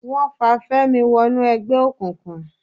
Wọ́n fa Fẹ́mi wọnú ẹgbẹ́ òkùnkùn